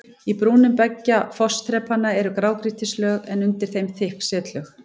Í brúnum beggja fossþrepanna eru grágrýtislög en undir þeim þykk setlög.